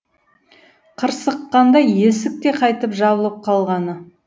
қырсыққанда есік те қайта жабылып қалғаны